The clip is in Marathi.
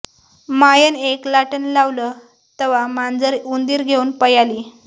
मायनं येक लाटनं लावलं तवा मांजर उंदीर घेवून पयाली